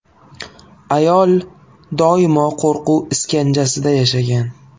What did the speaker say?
Ayol doimo qo‘rquv iskanjasida yashagan.